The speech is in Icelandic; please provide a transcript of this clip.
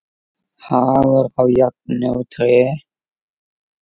Hagur á járn og tré.